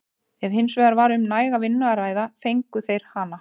Ef hins vegar var um næga vinnu að ræða fengu þeir hana.